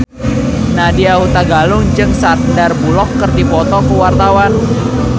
Nadya Hutagalung jeung Sandar Bullock keur dipoto ku wartawan